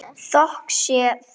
Þökk sé þér.